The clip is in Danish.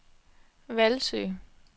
Hvalsø